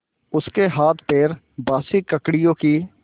उसके हाथपैर बासी ककड़ियों की